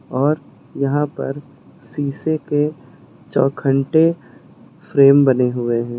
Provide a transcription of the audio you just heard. और यहां पर शीशे के चौखंटे फ्रेम बने हुए हैं।